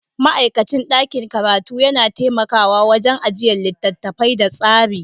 Ma'aikacin ɗakin karatu yana taimakawa wajen ajiyan littattafai da tsari.